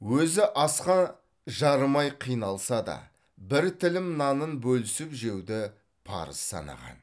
өзі асқа жарымай қиналса да бір тілім нанын бөлісіп жеуді парыз санаған